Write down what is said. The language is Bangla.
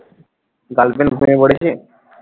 girlfriend প্রেমে পড়েছে